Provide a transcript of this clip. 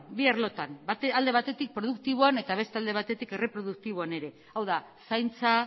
bi arlotan alde batetik produktiboan eta beste alde batetik erreproduktiboan ere hau da zaintza